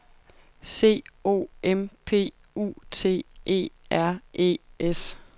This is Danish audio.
C O M P U T E R E S